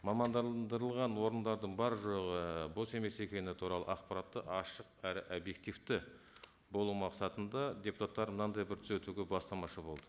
мамандандырылған орындардың бар жоғы бос емес екені туралы ақпаратты ашық әрі объективті болу мақсатында депутаттар мынандай бір түзетуге бастамашы болды